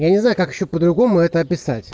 я не знаю как ещё по другому это описать